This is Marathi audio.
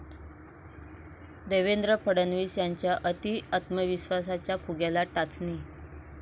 देवेंद्र फडणवीस यांच्या अती आत्मविश्वसाच्या फुग्याला टाचणी